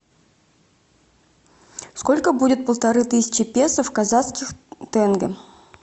сколько будет полторы тысячи песо в казахских тенге